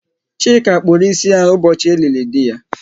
Chika kpụrụ ịsị ya ụbọchị e lili dị ya